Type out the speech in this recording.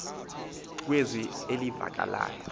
nge zwi elivakalayo